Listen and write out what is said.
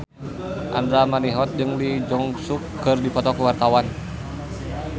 Andra Manihot jeung Lee Jeong Suk keur dipoto ku wartawan